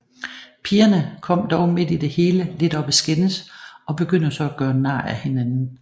Pigerne kommer dog midt i det hele lidt op at skændes og begynder så at gøre nar af hinanden